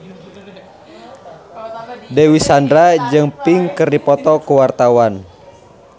Dewi Sandra jeung Pink keur dipoto ku wartawan